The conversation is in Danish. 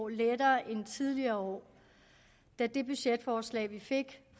lettere end tidligere år da det budgetforslag vi fik